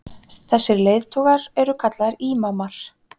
þessir leiðtogar eru kallaðir ímamar